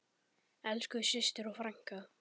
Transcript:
Elsku systir og frænka.